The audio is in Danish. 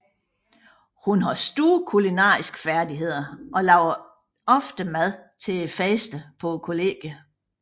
Hun har store kulinariske færdigheder og laver ofte mad til festerne på kollegiet